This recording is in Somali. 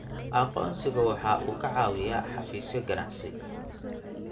Aqoonsigu waxa uu ka caawiyaa xafiisyo ganacsi.